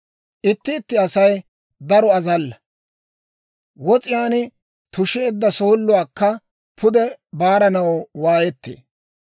Itti itti Asay daro azalla; wos'iyaan tusheedda sooluwaakka pude baaranaw waayettee.